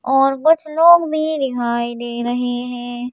और कुछ लोग भी दिखाई दे रहे हैं।